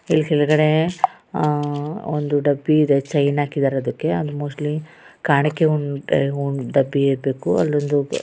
ಇಲ್ ಕೆಳಗಡೆ ಆಹ್ಹ್ ಒಂದು ಡಬ್ಬಿ ಇದೆ ಚೈನ್ ಹಾಕಿದ್ದಾರೆ ಅದಕ್ಕೆ ಅದು ಮೋಸ್ಟ್ಲಿ ಕಾಣಿಕೆ ಹೂ ಹುನ್ ಡಬ್ಬಿ ಇರ್ಬೇಕು ಅಲ್ಲೊಂದು --